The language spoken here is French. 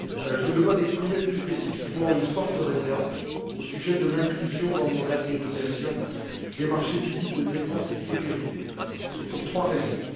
Je me dois d'exprimer plus spécifiquement une forte réserve au sujet de l'inclusion dans le mandat de négociation des marchés publics de défense et de sécurité, et ce pour trois raisons.